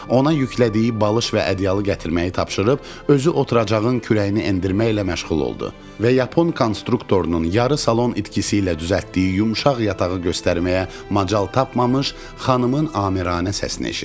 Ona yüklədiyi balış və ədyalı gətirməyi tapşırıb, özü oturacağın kürəyini endirməklə məşğul oldu və yapon konstruktorunun yarı salon itkisi ilə düzəltdiyi yumşaq yatağı göstərməyə macal tapmamış xanımın amiranə səsini eşitdi.